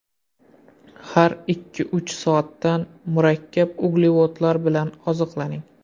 Har ikkiuch soatda murakkab uglevodlar bilan oziqlaning.